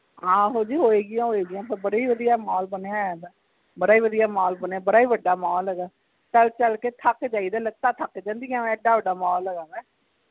ਆਹੋ ਜੀ ਹੋਏਗੀਆਂ ਹੋਏਗੀਆਂ ਉਹ ਬੜੇ ਵਧਿਆ mall ਬਣੇ ਹੈ ਦਾ ਬੜੇ ਵਧਿਆ mall ਬਣੇ ਬੜੇ ਵਡਾ mall ਹੇਗਾ ਚਲ ਚਲ ਕੇ ਥੱਕ ਜਾਈਦਾ ਲੱਤਾਂ ਥੱਕ ਜਾਂਦੀਆਂ ਏਦਾਂ ਵਡਾ mall ਹੇਗਾ ਵਾ